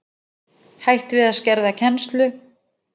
Hætt við að skerða kennslu